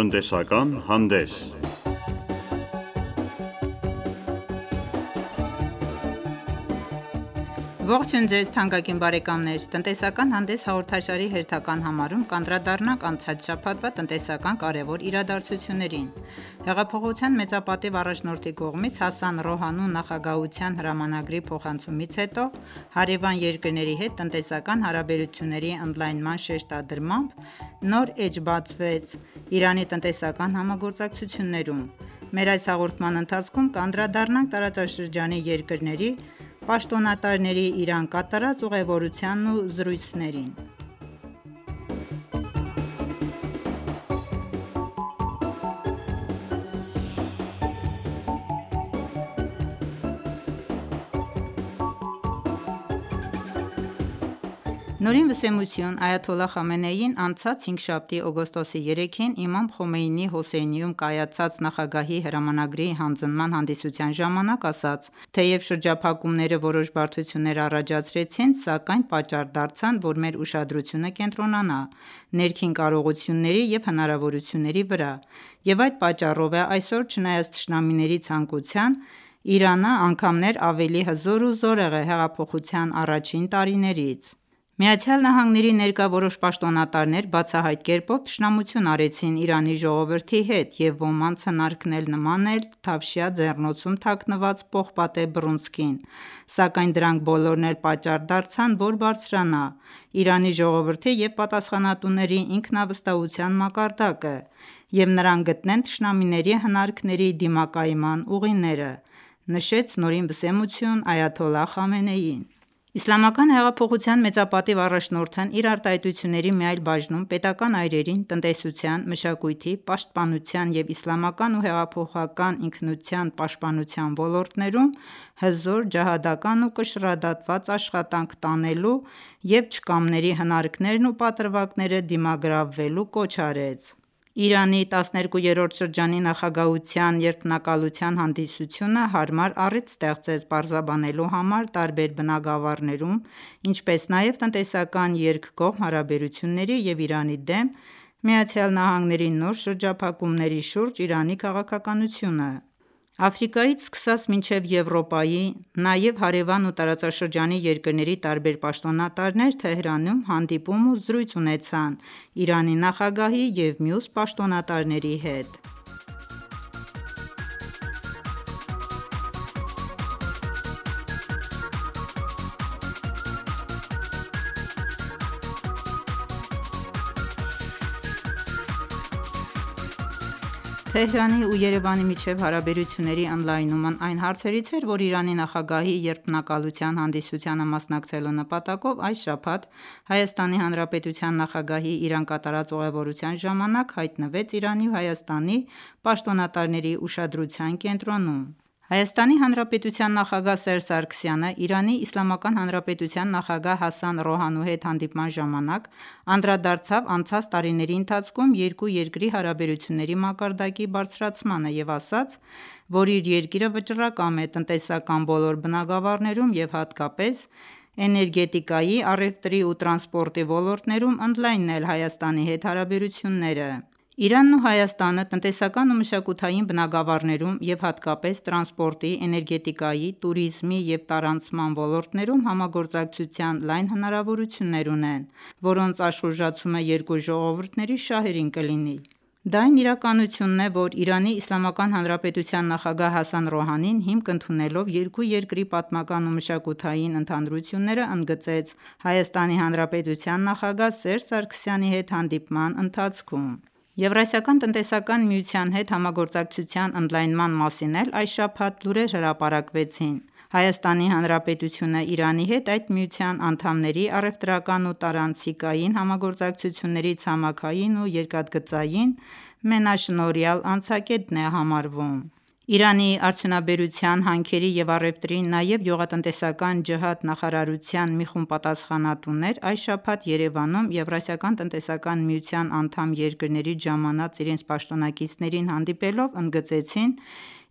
Տնտեսական հանդես Ողջույն թանկագին բարեկամներ: «Տնտեսական հանդես» հաղորդաշարի հերթական համարում կանդրադառնանք անցած շաբաթվա տնտեսական կարևոր իրադարձություններին: Հեղափոխության մեծապատիվ առաջնորդի կողմից Հասան Ռոհանիի նախագահության հրամանագրի փոխանցումից հետո հարևան երկրների հետ տնտեսական հարաբերությունների ընդլայնման շեշտադրմամբ նոր էջ բացվեց Իրանի տնտեսական համագործակցություններում: Մեր այս հաղորդման ընթացքում կանդրադառնանք տարածաշրջանի երկրների պաշտոնատարների Իրան կատարած ուղևորությանն ու զրույցներին: ՆՎ Այաթոլլահ Խամենեին անցած հինգշաբթի՝ օգոստոսի 3-ին, «Իմամ Խոմեյնի»-ի Հոսեյնիեում կայացած նախագահի հրամանագրի հանձնման հանդիսության ժամանակ, ասաց. «Թեև շրջափակումները որոշ բարդություններ առաջացրեցին, սակայն պատճառ դարձան, որ մեր ուշադրությունը կենտրոնանա ներքին կարողությունների և հնարավորությունների վրա և այդ պատճառով էլ այսօր չնայած թշնամիների ցանկության, այսօր Իրանի իսլամական հանրապետությունը ավելի հզոր է քան հեղափոխության առաջին տարիներին: «ԱՄՆ-ի ներկա որոշ պաշտոնատարներ բացահայտ կերպով թշնամություն արեցին Իրանի ժողովրդի նկատմամբ և ոմանց հնարքն էլ նման էր թավշյա ձեռնոցում թաքնված պողպատե բռունցքին, սակայն դրանք բոլորն էլ պատճառ դարձան, որ բարձրանա Իրանի ժողովրդի և պատասխանատուների ինքնավստահության մակարդակը և նրանք գտնեն թշնամիների հնարքների դիմակայման ուղիները»,-նշեց ՆՎ Այաթոլլահ Խամենեին: Իսլամական հեղափոխության մեծապատիվ առաջնորդն իր արտահայտությունների մի այլ բաժնում պետական այրերին տնտեսության, մշակույթի, պաշտպանության և իսլամական ու հեղափոխական ինքնության պահպանման ոլորտներում հզոր, ջիհադական ու կշռադատված աշխատանք տանելու և չկամների հնարքներն ու պատրվակները դիմագրավելու կոչ արեց: Իրանի 12-րդ շրջանի նախագահության երդմնակալության հանդիսութունը հարմար առիթ ստեղծեց պարզաբանելու համար տարբեր բնագավառներում, ինչպես նաև տնտեսական երկկողմ հարաբերությունների և Իրանի դեմ ԱՄՆ-ի նոր շրջափակումների շուրջ Իրանի քաղաքականությունը: Աֆրիկայից սկսած մինչև Եվրոպայի, նաև հարևան ու տարածաշրջանի երկրների տարբեր պաշտոնատարներ Թեհրանում հանդիպում ու զրույց ունեցան Իրանի նախագահի և մյուս պաշտոնատարների հետ: Թեհրանի ու Երևանի միջև հարաբերությունների ընդլայնումն այն հարցերից էր, որ Իրանի նախագահի երդմնակալության հանդիսությանը մասնակցելու նպատակով այս շաբաթ ՀՀ նախագահի Իրան կատարած ուղևորության ժամանակ հայտնվեց Իրանի ու Հայաստանի պաշտոնատարների ուշադրության կենտրոնում: ՀՀ նախագահ Սերժ Սարգսյանն ԻԻՀ նախագահ Հասան Ռոհանիի հետ հանդիպման ժամանակ անդրադարձավ անցած տարիների ընթացքում երկու երկրի հարաբերությունների մակարդակի բարձրացմանը և ասաց, որ իր երկիրը վճռակամ է տնտեսական բոլոր բնագավառներում և հատկապես էներգետիկայի, առևտրի ու տրանսպորտի ոլորտներում ընդլայնել Հայաստանի հետ հարաբերությունները: Իրանն ու Հայաստանը տնտեսական ու մշակութային բնագավառներում և հատկապես տրանսպորտի, էներգետիկայի, տուրիզմի և տարանցման ոլորտներում համագործակցության լայն հնարավորություններ ունեն, որոնց աշխուժացումը երկու ժողովուրդների օգտին կլինի: Դա այն իրականությունն է, որն ԻԻՀ նախագահ Հասան Ռոհանին հիմք ընդունելով երկու երկրի պատմական ու մշակութային ընդհանրություններն ընդգծեց ՀՀ նախագահ Սերժ Սարգսյանի հետ հանդիպման ընթացքում: ԵԱՏՄ-ի հետ համագործակցության ընդլայնման մասին էլ այս շաբաթ լուրեր հրապարակվեցին: ՀՀ-ն Իրանի հետ այդ միության անդամների առևտրական ու տարանցիկային համագործակցությունների ցամաքային ու երկաթգծային մենաշնորհյալ անցակետն է համարվում: Իրանի արդյունաբերության, հանքերի և առևտրի, նաև գյուղատնտեսական ջիհադի նախարարության մի խումբ պատասխանատուներ այս շաբաթ Երևանում ԵԱՏՄ անդամ երկրներից ժամանած իրենց պաշտոնակիցներին հանդիպելով ընդգծեցին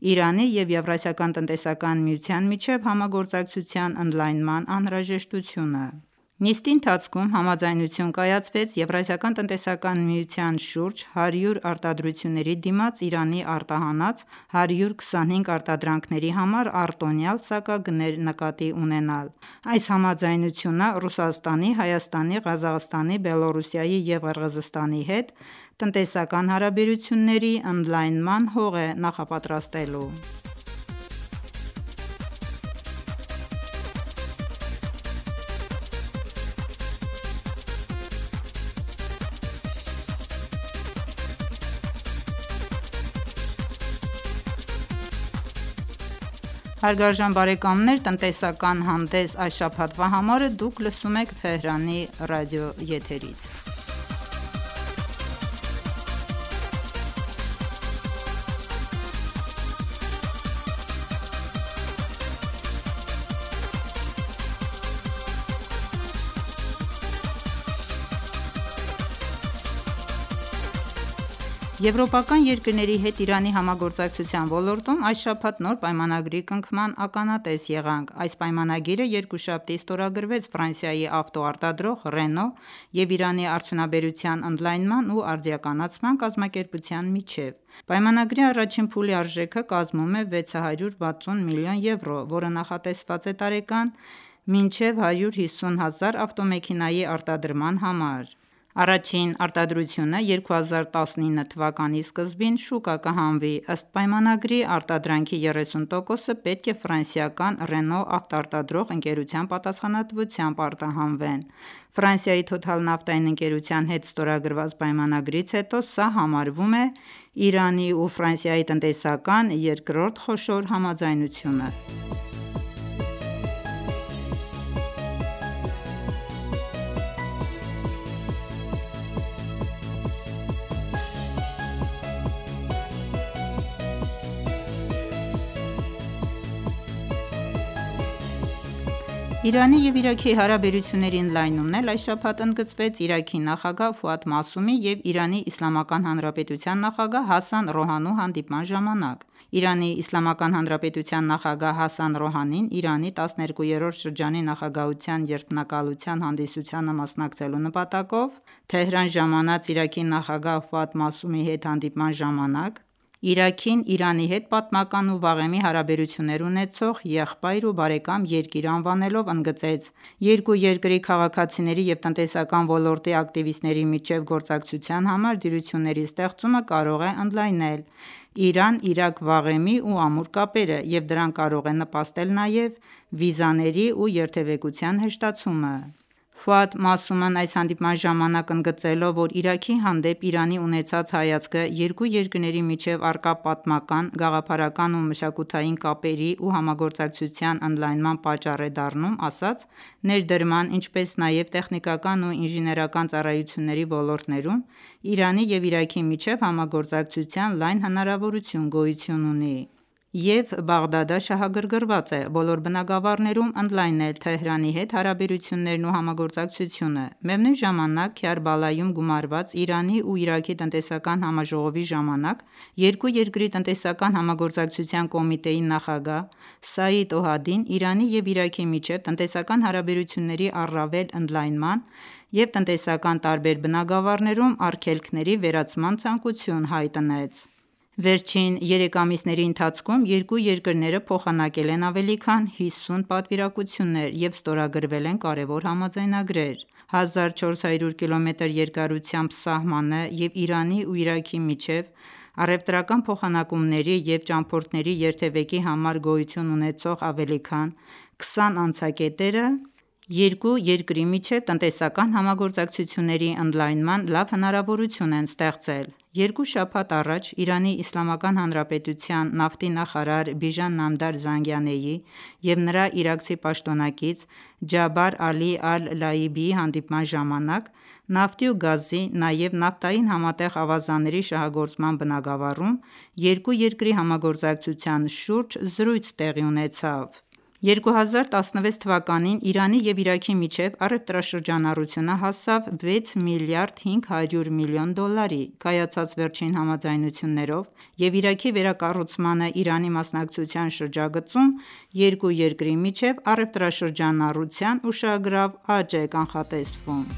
Իրանի և ԵԱՏՄ-ի միջև համագործակցության ընդլայնման անհրաժեշտությունը: Այս նիստի ընթացքում համաձայնություն կայացվեց ԵԱՏՄ-ի շուրջ 100 արտադրությունների դիմաց Իրանի արտահանած 125 արտադրանքների համար արտոնյալ սակագներ նկատի ունենալ: Այս համաձայնությունը Ռուսաստանի, Հայաստանի, Ղազախստանի, Բելառուսի և Ղրղզստանի հետ տնտեսական հարաբերությունների ընդլայնման հող է նախապատրաստելու: Եվրոպական երկրների հետ Իրանի համագործակցության ոլորտում այս շաբաթ նոր պայմանագրի կնքման ականատես եղանք: Այս պայմանագիրը երկուշաբթի ստորագրվեց Ֆրանսիայի ավտո արտադրող «Ռենո» և Իրանի արդյունաբերության ընդլայնման ու արդիականացման կազմակերպության միջև: Պայմանագրի առաջին փուլի արժեքը կազմում է 660 մլն. եվրո, որը նախատեսված է տարեկան մինչև 150 հազար ավտոմեքենայի արտադրման համար: Առաջին արտադրությունը 2019 թվականի սկզբին շուկա կհանվի: Ըստ պայմանագրի արտադրանքի 30 տոկոսը պետք է Ֆրանսիական Renault ավտոարտադրող ընկերության պատասխանատվությամբ արտահանվեն»: Ֆրանսիայի «Թոթալ» նավթային ընկերության հետ ստորագրված պայմանագրից հետո, սա համարվում է Իրանի ու Ֆրանսիայի տնտեսական երկրորդ խոշոր համաձայնությունը: Իրանի և Իրաքի հարաբերությունների ընդլայնումն էլ այս շաբաթ ընդգծվեց Իրաքի նախագահ Ֆուադ Մաըսումի և ԻԻՀ նախագահ Հասան Ռոհանիի հանդիպման ժամանակ: ԻԻՀ նախագահ Հասան Ռոհանին Իրանի 12-րդ շրջանի նախագահության երդմնակալության հանդիսությանը մասնակցելու նպատակով Թեհրան ժամանած Իրաքի նախագահ Ֆուադ Մաըսումի հետ հանդիպման ժամանակ, Իրաքին Իրանի հետ պատմական ու վաղեմի հարաբերություններ ունեցող եղբայր ու բարեկամ երկիր անվանելով, ընդգծեց. «Երկու երկրի քաղաքացիների և տնտեսական ոլորտի ակտիվիստների միջև գործակցության համար դյուրությունների ստեղծումը կարող է ընդլայնել Իրան-Իրաք վաղեմի ու ամուր կապերը և դրան կարող է նպաստել նաև վիզաների ու երթևեկության հեշտացումը»: Ֆուադ Մաըսումն այս հանդիպման ժամանակ ընդգծելով որ Իրաքի հանդեպ Իրանի ունեցած հայացքը երկու երկրների միջև առկա պատմական, գաղափարական ու մշակութային կապերի ու համագործակցության ընդլայնման պատճառ է դառնում, ասաց. «Ներդրման, ինչպես նաև տեխնիկական ու ինժիներական ծառայությունների ոլորտներում Իրանի և Իրաքի միջև համագործակցության լայն հնարավորություն գոյություն ունի և Բաղդադը շահագրգռված է բոլոր բնագավառներում ընդլայնել Թեհրանի հետ հարաբերություններն ու համագործակցությունը»: Միևնույն ժամանակ Քյարբալայում գումարված Իրանի ու Իրաքի տնտեսական համաժողովի ժամանակ երկու երկրի տնտեսական համագործակցության կոմիտեի նախագահ Սաիդ Օհադին Իրանի և Իրաքի միջև տնտեսական հարաբերությունների առավել ընդլայնման և տնտեսական տարբեր բնագավառներում արգելքների վերացման ցանկություն հայտնեց: Վերջին երեք ամիսների ընթացքում երկու երկրները փոխանակել են ավելի քան 50 պատվիրակություններ և ստորագրվել են կարևոր համաձայնագրեր: 1400կմ երկարությամբ սահմանը և Իրանի ու Իրաքի միջև առևտրական փոխանակումների և ճամբորդների երթևեկի համար գոյություն ունեցող ավելի քան 20 անցակետերը երկու երկրի միջև տնտեսական համագործակցությունների ընդլայնման լավ հնարավորություն են ստեղծել: Երկու շաբաթ առաջ ԻԻՀ նավթի նախարար Բիժան Նամդար Զանգանեի և նրա իրաքցի պաշտոնակից Ջաբար Ալի Ալ-Լաիբիի հանդիպման ժամանակ նավթի ու գազի, նաև նավթային համատեղ ավազանների շահագործման բնագավառում երկու երկրի համագործակցության շուրջ զրույց տեղի ունեցավ: 2016 թվականին Իրանի և Իրաքի միջև առևտրաշրջանառությունը հասավ 6 միլիարդ 500 միլիոն դոլարի: Կայացած վերջին համաձայնություններով և Իրաքի վերակառուցմանն Իրանի մասնակցության շրջագծում երկու երկրի միջև առևտրաշրջանառության ուշագրավ աճ է կանխատեսվում: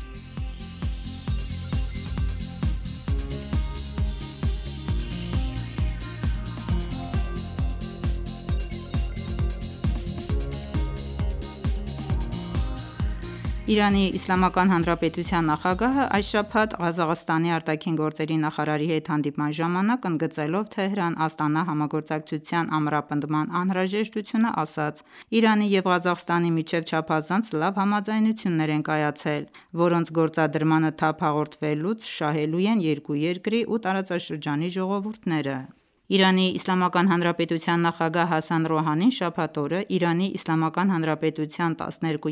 ԻԻՀ նախագահն այս շաբաթ Ղազախստանի ԱԳ նախարարի հետ հանդիպման ժամանակ ընդգծելով Թեհրան-Աստանա համագործակցության ամրապնդման անհրաժեշտությունն, ասաց. «Իրանի և Ղազախստանի միջև չափազանց լավ համաձայնություններ են կայացել, որոնց գործադրմանը թափ հաղորդվելուց շահելու են երկու երկրի ու տարածաշրջանի ժողովուրդները»: ԻԻՀ նախագահ Հասան Ռոհանին շաբաթ օրը ԻԻՀ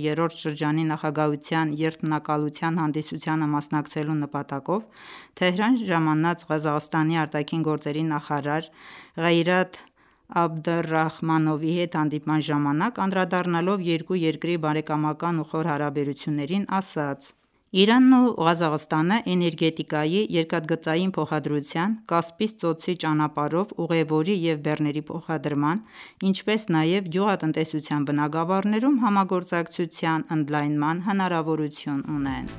12-րդ շրջանի նախագահության երդմնակալության հանդիսությանը մասնակցելու նպատակով Թեհրան ժամանած Ղազախստանի ԱԳ նախարար Ղեյրաթ Աբդռախմանովի հետ հանդիպման ժամանակ անդրադառնալով երկու երկրի բարեկամական ու խոր հարաբերություններին, ասաց. «Իրանն ու Ղազախստանը էներգետիկայի, երկաթգծային փոխադրության, Կասպից ծոցի ճանապարհով ուղևորի և բեռների փոխադրման, ինչպես նաև գյուղատնտեսության բնագավառներում համագործակցության ընդլայնման հնարավորություն ունեն»: